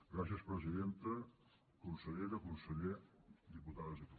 gràcies presidenta consellera conseller diputades diputats